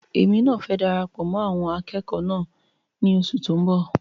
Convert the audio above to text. Èmi náà fẹ darapọ̀ mọ́ àwọn akẹ́kọ̀ọ́ náà ní oṣù tó n bọ